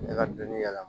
Ne ka dɔni yɛlɛma